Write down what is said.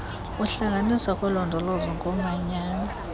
ukuhlanganiswa kolondolozo ngomanyano